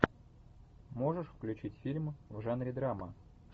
можешь включить фильм в жанре драма